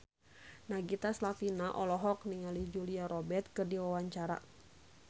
Nagita Slavina olohok ningali Julia Robert keur diwawancara